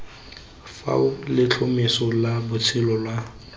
fao letlhomeso la bosetšhaba la